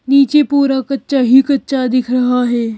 नीचे पूरा कच्चा ही कच्चा दिख रहा है।